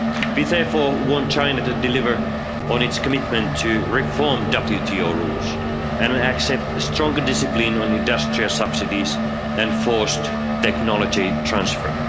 We therefore want China to deliver on its commitment to reform WTO rules and accept stronger discipline on industrial subsidies and forced technology transfer.